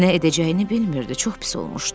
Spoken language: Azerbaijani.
Nə edəcəyini bilmirdi, çox pis olmuşdu.